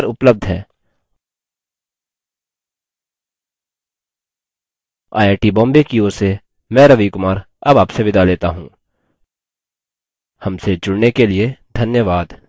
I I T Bombay की ओर से मैं रवि कुमार अब आपसे विदा लेता हूँ हमसे जुड़ने के लिए धन्यवाद